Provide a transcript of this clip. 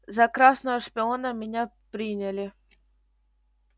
за красного шпиона меня приняли